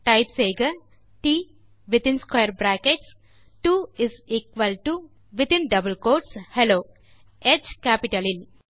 type செய்க ட் within square brackets 2 is equal to within double quotes hello ஹ் capitalலில்